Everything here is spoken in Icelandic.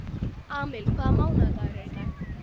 Amil, hvaða mánaðardagur er í dag?